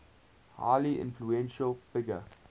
highly influential figure